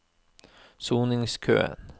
soningskøen